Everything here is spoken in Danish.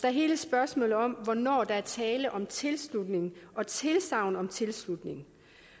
er hele spørgsmålet om hvornår der er tale om tilslutning og tilsagn om tilslutning